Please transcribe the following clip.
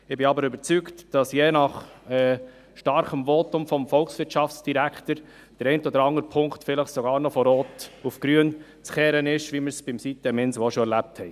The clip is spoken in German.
Ich bin überzeugt, dass je nach starkem Votum des Volkswirtschaftsdirektors, sich der eine oder andere Punkt vielleicht noch von rot auf grün drehen lässt, wie wir es bei Siteminsel auch schon erlebt haben.